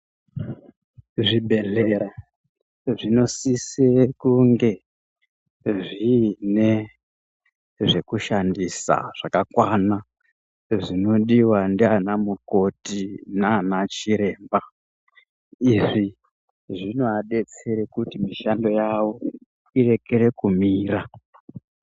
Zvibhedhlera zvinosise kunge zviine zvekushandisa zvakakwana, zvinodiva ndiana mukoti nana chiremba. Izvi zvinoabetsere kuti mishando yavo irekere kumira.